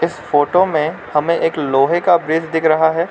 इस फोटो में हमें एक लोहे का ब्रिज दिख रहा है।